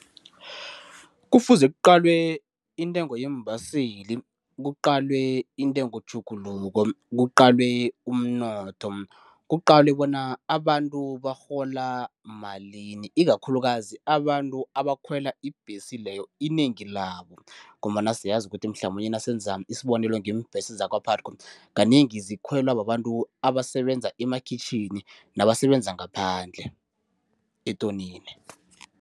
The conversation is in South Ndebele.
Kufuze kuqalwe intengo yeembaseli, kuqalwe intengo tjhuguluko, kuqalwe umnotho, kuqalwe bona abantu barhola malini ikakhulukazi abantu abakhwela ibhesi leyo inengi labo ngombana siyazi kuthi mhlamunye nasele wenza isibonelo ngeembhesi zakwa-PUTCO kanengi zikhwelwa babantu abasebenza emakhitjhini, nabasebenza ngaphandle etonini.